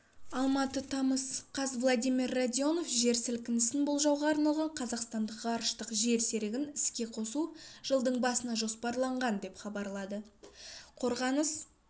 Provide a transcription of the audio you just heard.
алматы тамыз қаз владимир радионов жер сілкінісін болжауға арналған қазақстандық ғарыштық жер серігін іске қосу жылдың басына жоспарланған деп хабарлады қорғаныс